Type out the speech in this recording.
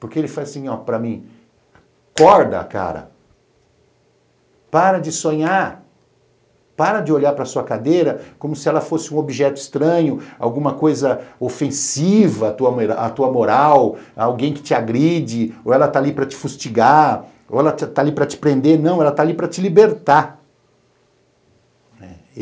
Porque ele falou assim para mim, acorda, cara, para de sonhar, para de olhar para sua cadeira como se ela fosse um objeto estranho, alguma coisa ofensiva à tua à tua moral, alguém que te agride, ou ela tá ali para te fustigar, ou ela tá ali para te prender, não, ela tá ali para te libertar, né?